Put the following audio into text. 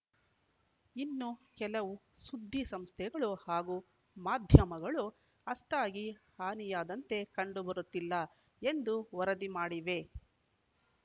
ಇನ್ನು ಕೆಲವು ಸುದ್ದಿಸಂಸ್ಥೆಗಳು ಹಾಗೂ ಮಾಧ್ಯಮಗಳು ಅಷ್ಟಾಗಿ ಹಾನಿಯಾದಂತೆ ಕಂಡುಬರುತ್ತಿಲ್ಲ ಎಂದು ವರದಿ ಮಾಡಿವೆ